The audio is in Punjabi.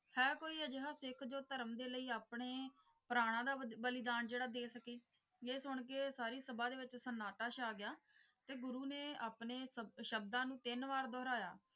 ਹੈ ਕੋਈ ਅਜਿਹਾ ਸਿੱਖ ਜੋ ਧਰਮ ਦੇ ਲਈ ਆਪਣੇ ਪ੍ਰਾਣਾਂ ਦਾ ਬਦ ਬਲੀਦਾਨ ਜਿਹੜਾ ਦੇ ਸਕੇ ਇਹ ਸੁਣ ਕੇ ਸਾਰੀ ਸਭਾ ਦੇ ਵਿੱਚ ਸੰਨਾਟਾ ਛਾ ਗਿਆ ਤੇ ਗੁਰੂ ਨੇ ਆਪਣੇ ਸ਼ਬ ਸ਼ਬਦਾਂ ਨੂੰ ਤਿੰਨ ਵਾਰ ਦੁਹਰਾਇਆ।